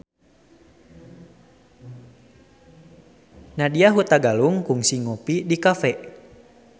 Nadya Hutagalung kungsi ngopi di cafe